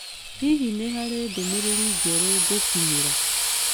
Hihi nĩ harĩ ndũmĩrĩri njerũ ngũkinyĩra?